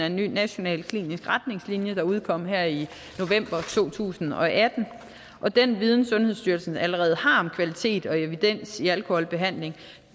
en ny national klinisk retningslinje der udkom her i november to tusind og atten og den viden sundhedsstyrelsen allerede har om kvalitet og evidens i alkoholbehandlingen